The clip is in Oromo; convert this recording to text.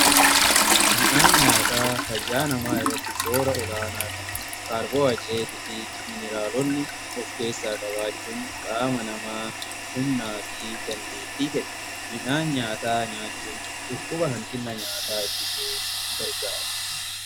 Midhaan nyaata fayyaa namaa irratti soora olaanaa qabu kaarbohaayidireetii fi mineraalonni of keessaa qabaachuun qaama namaa humnaa fi dandeetii kenna. Midhaan nyaata nyaachuun dhukkuba hanqina nyaataa ittisuuf gargaara.